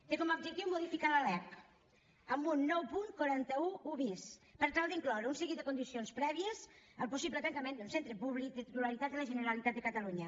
té com a objectiu modificar la lec amb un nou punt quatre cents i onze bis per tal d’incloure un seguit de condicions prèvies al possible tancament d’un centre públic de titularitat de la generalitat de catalunya